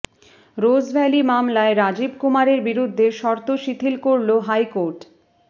Rose Valley মামলায় রাজীব কুমারের বিরুদ্ধে শর্ত শিথিল করল হাইকোর্ট